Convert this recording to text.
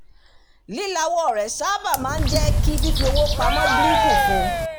lílawọ́ rẹ̀ sáábà máa ń jẹ kí fífi owó pamọ́ dínkù fún